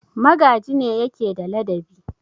Magaji ne yake da ladabi.